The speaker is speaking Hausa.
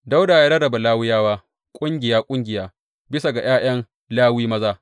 Dawuda ya rarraba Lawiyawa ƙungiya ƙungiya bisa ga ’ya’yan Lawi maza.